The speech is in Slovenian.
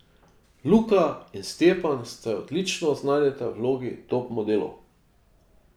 Luka in Stjepan se odlično znajdeta v vlogi top modelov.